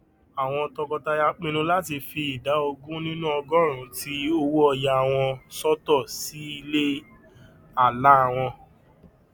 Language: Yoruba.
àwọn tọkọtaya pinnu láti fi ìdá ogún nínú ogóòrún ti owóọyà wọn sọtọ sí ilé àlá wọn